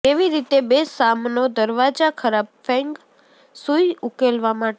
કેવી રીતે બે સામનો દરવાજા ખરાબ ફેંગ શુઇ ઉકેલવા માટે